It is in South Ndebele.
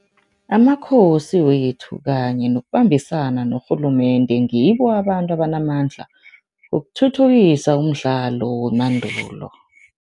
Amakhosi wethu kanye nokubambisana norhulumende ngibo abantu abanamandla ukuthuthukisa umdlalo wemandulo.